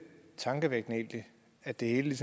tankevækkende at det hele